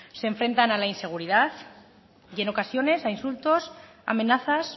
se enfrentan a la inseguridad y en ocasiones a insultos amenazas